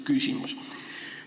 Küsimus on selline.